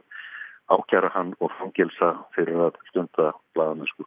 ákæra hann og fangelsa fyrir að stunda blaðamennsku